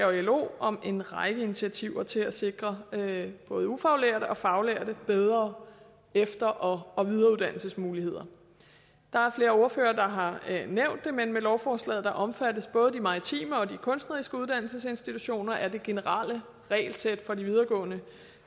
og lo om en række initiativer til at sikre både ufaglærte og faglærte bedre efter og og videreuddannelsesmuligheder der er flere ordførere der har nævnt det men med lovforslaget omfattes både de maritime og de kunstneriske uddannelsesinstitutioner af det generelle regelsæt for de videregående